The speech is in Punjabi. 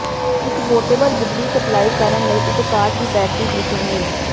ਇੱਕ ਪੋਰਟੇਬਲ ਬਿਜਲੀ ਸਪਲਾਈ ਕਰਨ ਲਈ ਇਕ ਕਾਰ ਦੀ ਬੈਟਰੀ ਦੀ ਸੁਮੇਲ